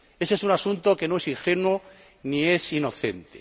Ese es un asunto que no es ingenuo ni es inocente.